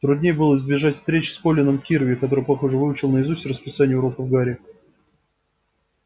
труднее было избежать встреч с колином кирви который похоже выучил наизусть расписание уроков гарри